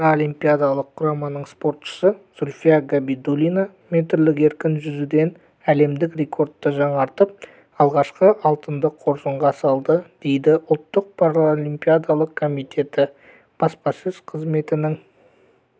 паралимпиадалық құраманың спортшысы зульфия габидуллина метрлік еркін жүзуден әлемдік рекордты жаңартып алғашқы алтынды қоржынға салды дейді ұлттық паралимпиадалық комитеті баспасөз қызметінің